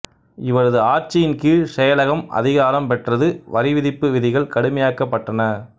இவரது ஆட்சியின் கீழ் செயலகம் அதிகாரம் பெற்றது வரிவிதிப்பு விதிகள் கடுமையாக்கப்பட்டன